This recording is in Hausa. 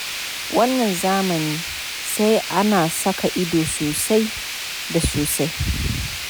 Wannan zamanin sai ana saka ido sosai da sosai.